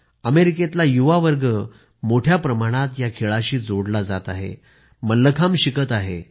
अमेरिकेतला युवा वर्ग मोठ्या प्रमाणात या खेळाशी जोडले जात आहेत मल्लखांब शिकत आहेत